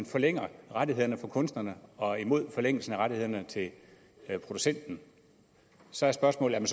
forlænger rettighederne for kunstnerne og imod forlængelsen af rettighederne til producenten så er spørgsmålet om